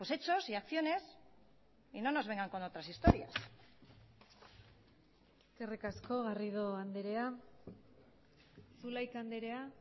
hechos y acciones y no nos vengan con otras historias eskerrik asko garrido andrea zulaika andrea